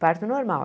Parto normal.